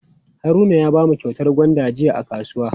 Haruna ya bamu kyautar gwanda jiya a kasuwa.